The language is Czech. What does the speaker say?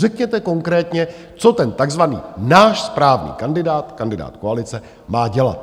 Řekněte konkrétně, co ten takzvaný náš správný kandidát, kandidát koalice, má dělat.